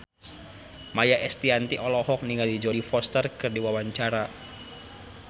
Maia Estianty olohok ningali Jodie Foster keur diwawancara